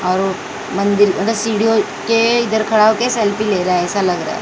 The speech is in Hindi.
और मंदिर मतलब सीढ़ियों के इधर खड़ा होके सेल्फी ले रहा हैं ऐसा लग रहा हैं।